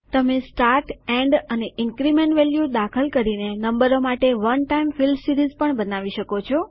તમે start end અને increment value દાખલ કરીને નંબરો માટે વન ટાઈમ ફિલ સીરીઝ પણ બનાવી શકો છો